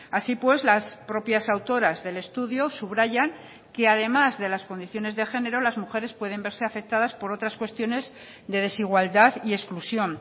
así pues las propias autoras del estudio subrayan que además de las condiciones de género las mujeres pueden verse afectadas por otras cuestiones de desigualdad y exclusión